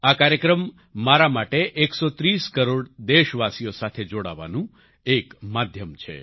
આ કાર્યક્રમ મારા માટે 130 કરોડ દેશવાસીઓ સાથે જોડાવાનું એક માધ્યમ છે